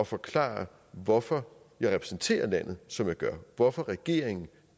forklare hvorfor jeg repræsenterer landet som jeg gør hvorfor regeringen